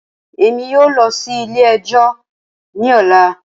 Rara, Emi kii yoo lọ si ilẹ-ẹjọ ni ọla.